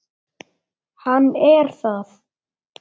Hann er það.